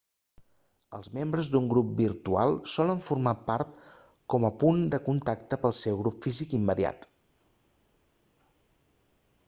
els membres d'un grup virtual solen funcionar com a punt de contacte pel seu grup físic immediat